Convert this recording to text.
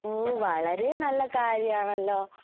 ഓ വളരെ നല്ല കാര്യാണല്ലോ